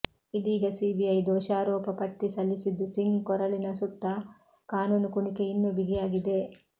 ಇದೀಗ ಸಿಬಿಐ ದೋಷಾರೋಪ ಪಟ್ಟಿ ಸಲ್ಲಿಸಿದ್ದು ಸಿಂಗ್ ಕೊರಳಿನ ಸುತ್ತಾ ಕಾನೂನು ಕುಣಿಗೆ ಇನ್ನೂ ಬಿಗಿಯಾಗಿದೆ